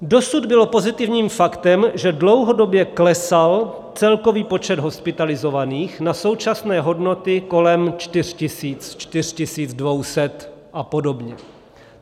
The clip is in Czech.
Dosud bylo pozitivním faktem, že dlouhodobě klesal celkový počet hospitalizovaných na současné hodnoty kolem 4 tisíc, 4 200 a podobně.